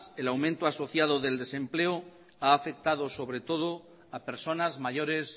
el aumento asociado del desempleo ha afectado a personas mayores